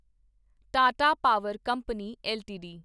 Tata power company LTD